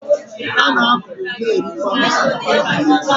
A na-akọ, na-erikwa osikapa n’ala Igbo